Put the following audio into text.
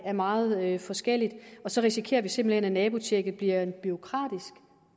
er meget forskellig og så risikerer vi simpelt hen at nabotjekket bliver en bureaukratisk